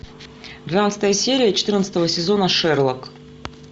двенадцатая серия четырнадцатого сезона шерлок